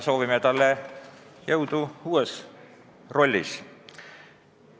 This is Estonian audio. Soovime talle jõudu uues rollis.